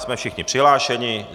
Jsme všichni přihlášeni.